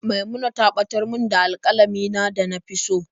Maimuna ta batar min da alƙalamin na da na fi so.